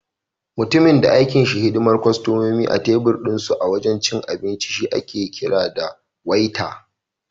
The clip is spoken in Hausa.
Mutumin da aikinsa shi ne hidimar kostomomi a tebir dinsu a wajen abinci shi ake kira da Waiter.